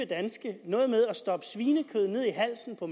danske noget med at stoppe svinekød ned i halsen på